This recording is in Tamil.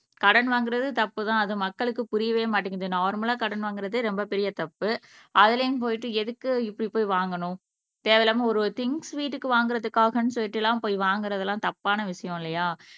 கடன் வாங்குறது தப்புதான் அது மக்களுக்கு புரியவே மாட்டேங்குது நார்மலா கடன் வாங்குறதே ரொம்ப பெரிய தப்பு அதுலயும் போயிட்டு எதுக்கு இப்படி போய் வாங்கணும் தேவையில்லாமல் ஒரு ஒரு திங்ஸ் வீட்டுக்கு வாங்குறதுக்காகன்னு சொல்லிட்டு எல்லாம் போய் வாங்குறது எல்லாம் தப்பான விஷயம் இல்லையா